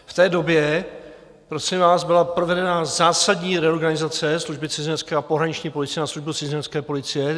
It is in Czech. V té době, prosím vás, byla provedena zásadní reorganizace Služby cizinecké a pohraniční policie na Službu cizinecké policie.